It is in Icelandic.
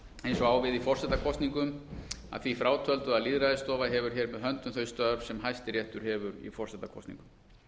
á við í forsetakosningum að því frátöldu að lýðræðisstofa hefur hér með höndum þau störf sem hæstiréttur hefur í forsetakosningum